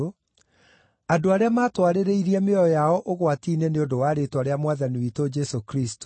andũ arĩa matwarĩrĩirie mĩoyo yao ũgwati-inĩ nĩ ũndũ wa rĩĩtwa rĩa Mwathani witũ Jesũ Kristũ.